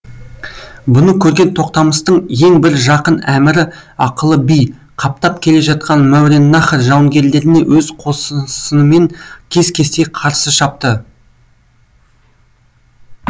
бұны көрген тоқтамыстың ең бір жақын әмірі ақылы би қаптап келе жатқан мауараннахр жауынгерлеріне өз қосынсынымен кес кестей қарсы шапты